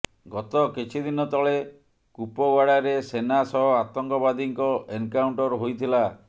ଗତ କିଛି ଦିନ ତଳେ କୁପୱାଡାରେ ସେନା ସହ ଆତଙ୍କବାଦୀଙ୍କ ଏନ୍କାଉଣ୍ଟର ହୋଇଥିଲା